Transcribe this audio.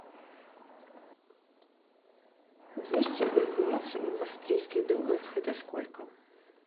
двести бальбоа в австрийских долларах это сколько